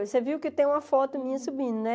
Você viu que tem uma foto minha subindo, né?